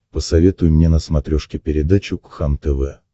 посоветуй мне на смотрешке передачу кхлм тв